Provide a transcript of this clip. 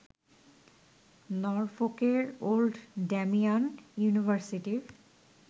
নরফোকের old Damian ইউনিভার্সিটির